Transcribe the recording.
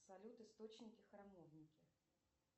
салют источники храмовники